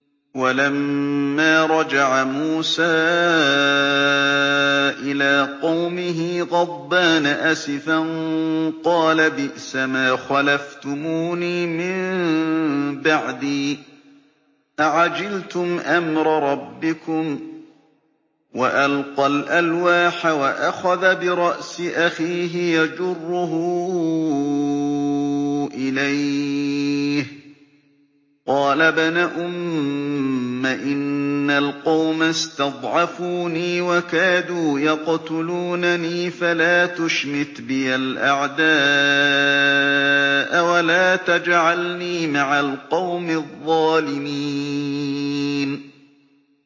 وَلَمَّا رَجَعَ مُوسَىٰ إِلَىٰ قَوْمِهِ غَضْبَانَ أَسِفًا قَالَ بِئْسَمَا خَلَفْتُمُونِي مِن بَعْدِي ۖ أَعَجِلْتُمْ أَمْرَ رَبِّكُمْ ۖ وَأَلْقَى الْأَلْوَاحَ وَأَخَذَ بِرَأْسِ أَخِيهِ يَجُرُّهُ إِلَيْهِ ۚ قَالَ ابْنَ أُمَّ إِنَّ الْقَوْمَ اسْتَضْعَفُونِي وَكَادُوا يَقْتُلُونَنِي فَلَا تُشْمِتْ بِيَ الْأَعْدَاءَ وَلَا تَجْعَلْنِي مَعَ الْقَوْمِ الظَّالِمِينَ